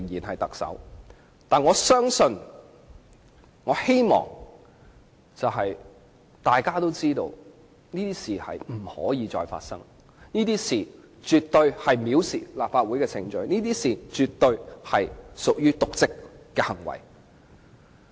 可是，我相信並希望大家知道，這種事不能再次發生，這種事絕對構成藐視立法會程序，絕對屬於瀆職行為。